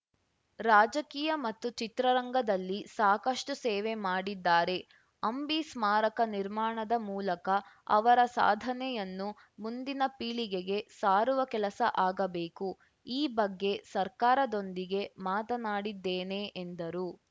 ರಾಜಕೀಯ ಮತ್ತು ಚಿತ್ರರಂಗದಲ್ಲಿ ಸಾಕಷ್ಟುಸೇವೆ ಮಾಡಿದ್ದಾರೆ ಅಂಬಿ ಸ್ಮಾರಕ ನಿರ್ಮಾಣದ ಮೂಲಕ ಅವರ ಸಾಧನೆಯನ್ನು ಮುಂದಿನ ಪೀಳಿಗೆಗೆ ಸಾರುವ ಕೆಲಸ ಆಗಬೇಕು ಈ ಬಗ್ಗೆ ಸರ್ಕಾರದೊಂದಿಗೆ ಮಾತನಾಡಿದ್ದೇನೆ ಎಂದರು